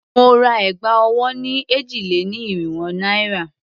Mo ra ẹ̀gbà ọwọ́ ni èjì-lé-ní-irínwó naira.